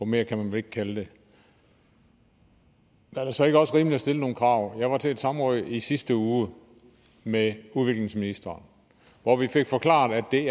mere kan man vel ikke kalde det er det så ikke også rimeligt at stille nogle krav jeg var til et samråd i sidste uge med udviklingsministeren hvor vi fik forklaret at det